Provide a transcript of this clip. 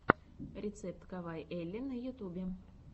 рецепт кавайэлли на ютьюбе